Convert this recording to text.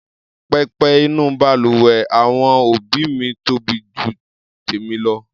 Pẹpẹ inú balùwẹ̀ àwọn òbí mi tóbi ju tèmi lọ.